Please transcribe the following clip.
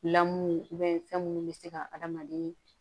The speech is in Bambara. Lamu fɛn minnu bɛ se ka adamaden